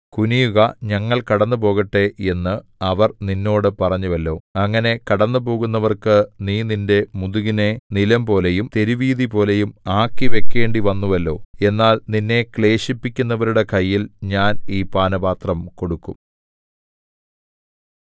കുനിയുക ഞങ്ങൾ കടന്നുപോകട്ടെ എന്നു അവർ നിന്നോട് പറഞ്ഞുവല്ലോ അങ്ങനെ കടന്നുപോകുന്നവർക്കു നീ നിന്റെ മുതുകിനെ നിലംപോലെയും തെരുവീഥിപോലെയും ആക്കിവെക്കേണ്ടി വന്നുവല്ലോ എന്നാൽ നിന്നെ ക്ലേശിപ്പിക്കുന്നവരുടെ കയ്യിൽ ഞാൻ ഈ പാനപാത്രം കൊടുക്കും